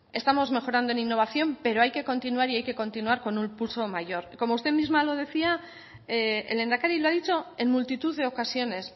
estamos mejorando en innovación pero hay que continuar y hay que continuar con un pulso mayor como usted misma lo decía el lehendakari lo ha dicho en multitud de ocasiones